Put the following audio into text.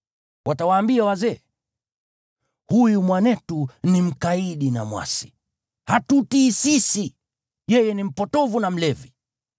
Watawaambia wazee, “Huyu mwanetu ni mkaidi na mwasi. Hatutii sisi, yeye ni mpotovu na mlevi.”